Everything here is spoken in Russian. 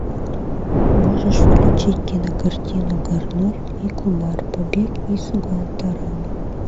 можешь включить кинокартину гарольд и кумар побег из гуантанамо